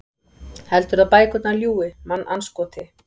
Heldurðu að bækurnar ljúgi, mannandskoti?